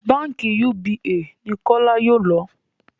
bánkì UBA ni kola yóò ló